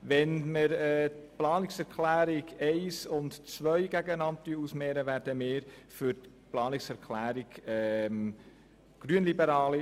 Bei der Gegenüberstellung der Planungserklärung 1 gegen die Planungserklärung 2 werden wir uns für die Planungserklärung glp aussprechen.